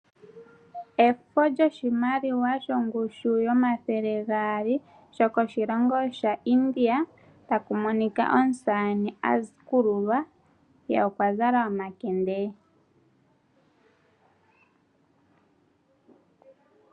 Efo lyoshimaliwa shongushu yomathele gaali shokoshilongo sha India taku moika omusamane akululwa ye okwa zala omakende.